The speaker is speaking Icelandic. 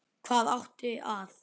Hvað átti að